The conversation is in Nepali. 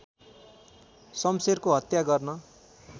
शम्शेरको हत्या गर्न